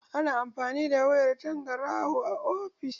Ana amfani da wayar tangaraho a ofishi.